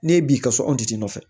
N'e b'i ka so an ti nɔfɛ